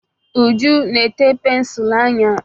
Uju na-ete pensụl anya.